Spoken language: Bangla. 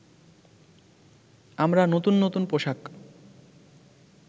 আমরা নতুন নতুন পোশাক